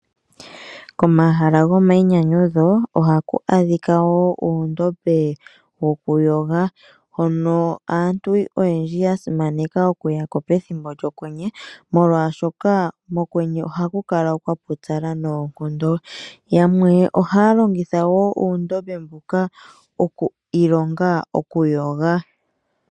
Komahala go mayinyanyudho ohaku adhika woo uundombe wo kuyoga, hono aantu oyendji ya simaneka okuya ko pethimbo lyokwenye, molwaashoka mokwenye ohaku kala kwa pupyala noonkondo. Yamwe ohaya longitha woo uundombe mbuka oku ilonga okuyoga.